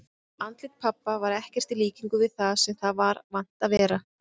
Andlit pabba var ekkert í líkingu við það sem það var vant að vera.